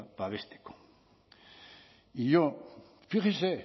babesteko y yo fíjese